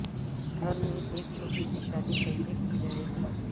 گھر میں ایک چھوٹی سی شادی کیسے کی جائے گی